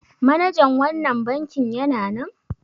Manajan wannan bankin yana nan?